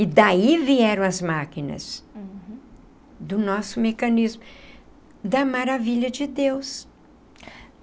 E daí vieram as máquinas do nosso mecanismo, da maravilha de Deus.